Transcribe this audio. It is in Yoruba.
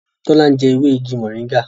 Tola njé ewe ìgi moringa.